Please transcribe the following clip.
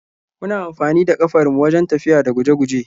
Muna amfanida kafar mu wajen tafiya da guje-guje.